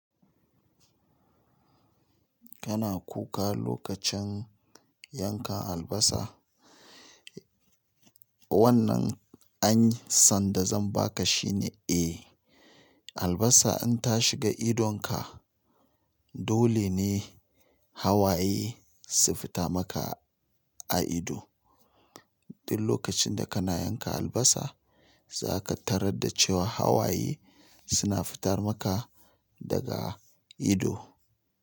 Kana kuka lokacin yanka albasa. Wannan ansan da zan baka shine eh, albasa in ta shiga idonka. Dole ne hawaye su fita maka a ido. Duk lokacin da kana yanka albasa, za ka tarar da cewa hawaye suna fitar maka daga ido.